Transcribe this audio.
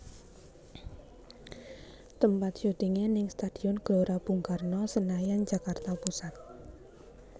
Tempat syutingé ning Stadion Gelora Bung Karno Senayan Jakarta Pusat